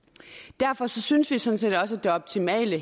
derfor synes vi sådan set også at det optimale